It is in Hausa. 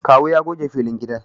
Kawu ya goge filin gidan